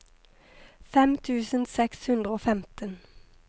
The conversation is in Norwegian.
fem tusen seks hundre og femten